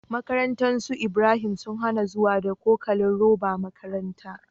Makarantar su Ibrahim sun hAna zuwa da cokalin roba makarantar